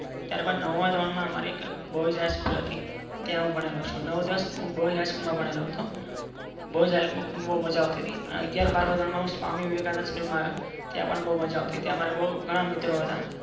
ત્યાર બાદ નવમા ધોરણ માં અમારે એક boys high school હતી. ત્યાં હું ભણેલો છુ. નવ દસ હું boys high school માં ભણેલો હતો boys high school મ બૌજ્માઝા આવતી હતી. અગિયાર બાર ધોરણ માં હું સ્વામી વિવેકાનંદ school આવ્યા ત્યાં પણ મારે ગણા મિત્રો હતા.